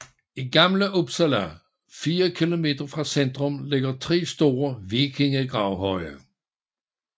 I Gamla Uppsala fire kilometer fra centrum ligger tre store vikingegravhøje